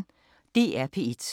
DR P1